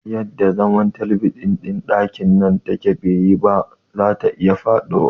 Yadda zaman talabijin ɗin ɗakin nan take baiyi ba, zata iya faɗiwa